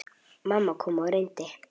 Mamma kom og reyndi.